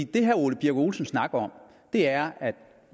det herre ole birk olesen snakker om er at